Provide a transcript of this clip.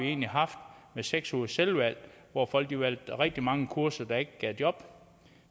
egentlig haft med seks ugers selvvalg hvor folk valgte rigtig mange kurser der ikke gav job